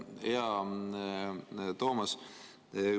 Hea Toomas!